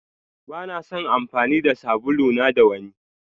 Bana son amfani da sabulu na da wanni.